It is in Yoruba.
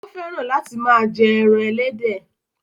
Ó fẹ́ràn láti máa jẹ́ ẹran ẹlẹ́dẹ̀